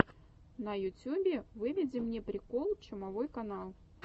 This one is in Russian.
на ютюбе выведи мне приколы чумовой канал